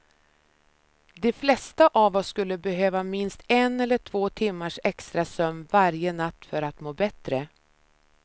De flesta av oss skulle behöva minst en eller två timmars extra sömn varje natt för att må bättre.